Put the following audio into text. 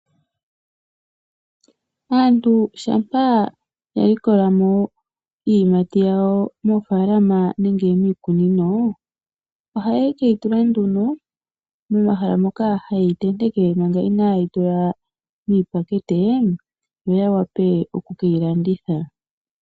Aantu shampa ya likolamo iiyimati yawo moofaalama nenge miikunino, ohaye keyi tula nduno momahala moka hayeyi tenteke manga inaayeyi tula miipakete, yo yawape okukeyi landitha.